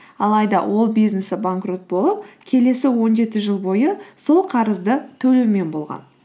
алайда ол бизнесі банкрот болып келесі он жеті жыл бойы сол қарызды төлеумен болған